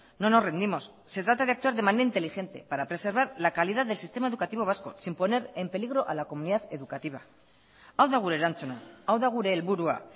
no nos rendimos se trata de actuar de manera inteligente para preservar la calidad del sistema educativo vasco sin poner en peligro a la comunidad educativa hau da gure erantzuna hau da gure helburua